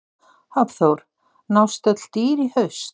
Hafþór: Nást öll dýr í haust?